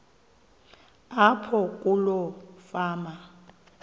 apho kuloo fama